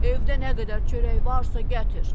Evdə nə qədər çörək varsa, gətir.